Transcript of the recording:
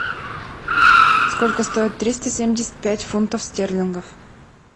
сколько стоит триста семьдесят пять фунтов стерлингов